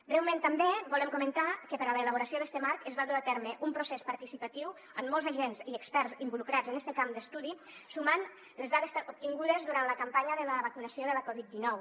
breument també volem comentar que per a l’elaboració d’este marc es va dur a terme un procés participatiu amb molts agents i experts involucrats en este camp d’estudi sumant les dades obtingudes durant la campanya de la vacunació de la covid dinou